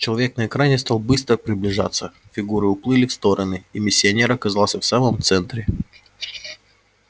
человек на экране стал быстро приближаться фигуры уплыли в стороны и миссионер оказался в самом центре